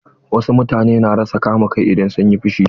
Wasu mutane na rasa kama kai idan sun yi fushi.